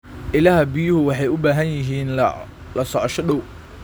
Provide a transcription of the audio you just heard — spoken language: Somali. Ilaha biyuhu waxay u baahan yihiin la socosho dhow.